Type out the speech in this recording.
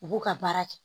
U b'u ka baara kɛ